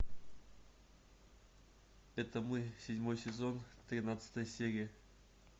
это мы седьмой сезон тринадцатая серия